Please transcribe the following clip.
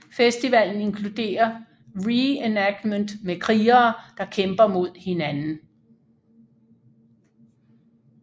Festivalen inkluderer reenactment med krigere der kæmper mod hinanden